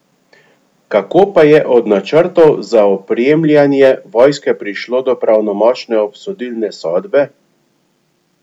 Kako pa je od načrtov za opremljanje vojske prišlo do pravnomočne obsodilne sodbe?